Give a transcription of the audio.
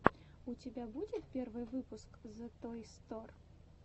у тебя будет первый выпуск зэтойстор